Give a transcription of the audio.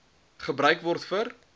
gebruik word vir